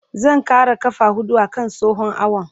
Zan ƙara ƙafa huɗu a kan tsohon awon.